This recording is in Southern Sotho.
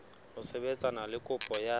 ho sebetsana le kopo ya